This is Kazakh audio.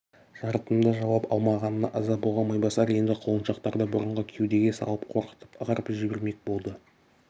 жарытымды жауап алмағанына ыза болған майбасар енді құлыншақтарды бұрынғы кеудеге салып қорқытып ығырып жібермек болды